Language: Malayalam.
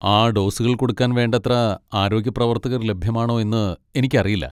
ആ ഡോസുകൾ കൊടുക്കാൻ വേണ്ടത്ര ആരോഗ്യ പ്രവർത്തകർ ലഭ്യമാണോ എന്ന് എനിക്കറിയില്ല.